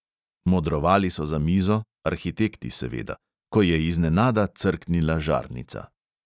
Modrovali so za mizo, arhitekti seveda, ko je iznenada crknila žarnica.